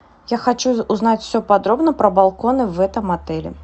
я хочу узнать все подробно про балконы в этом отеле